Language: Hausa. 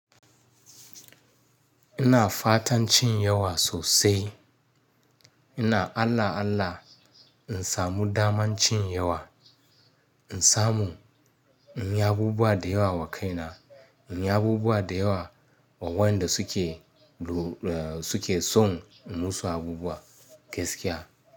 Ina fatan cin yawa sosai. Ina Allah Allah in samu daman cin yawa, in samu in yi abubuwa da yawa wa kaina, in yi abubuwa da yawa wa wanda suke, suke son in musu abubuwa gaskiya.